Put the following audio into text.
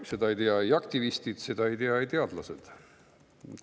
Seda ei tea aktivistid, seda ei tea teadlased.